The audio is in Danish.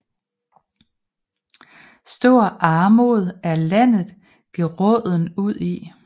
Stor Armod er Landet geraaden udi